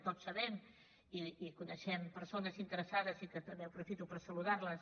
tots sabem i coneixem persones interessades i que també aprofito per saludar les